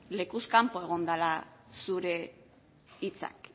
lekuz kanpo egon direla zure hitzak